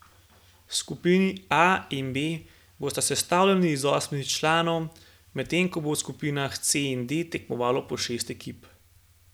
Skupini A in B bosta sestavljeni iz osmih članov, medtem ko bo v skupinah C in D tekmovalo po šest ekip.